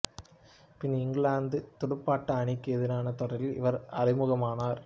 பின் England துடுப்பாட்ட அணிக்கு எதிரான தொடரில் இவர் அறிமுகமானார்